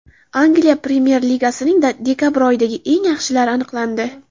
Angliya Premyer Ligasining dekabr oyidagi eng yaxshilari aniqlandi.